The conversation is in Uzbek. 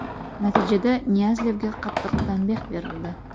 Natijada Niyazlevga qattiq tanbeh berildi.